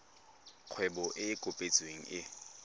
kgwebo e e kopetsweng e